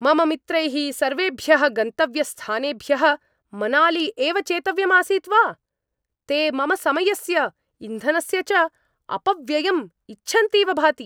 मम मित्रैः सर्वेभ्यः गन्तव्यस्थानेभ्यः मनाली एव चेतव्यम् आसीत् वा? ते मम समयस्य इन्धनस्य च अपव्ययम् इच्छन्तीव भाति!